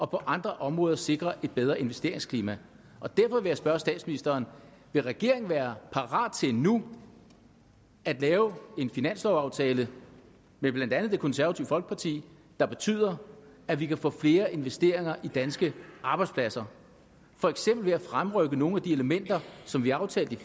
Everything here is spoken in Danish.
på andre områder sikre et bedre investeringsklima og derfor vil jeg spørge statsministeren vil regeringen være parat til nu at lave en finanslovaftale med blandt andet det konservative folkeparti der betyder at vi kan få flere investeringer i danske arbejdspladser for eksempel ved at fremrykke nogle af de elementer som vi aftalte i